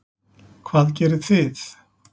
Hvað gerið þið?